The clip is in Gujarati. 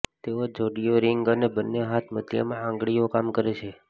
તેઓ જોડીઓ રિંગ અને બંને હાથ મધ્યમાં આંગળીઓ કામ કરે છે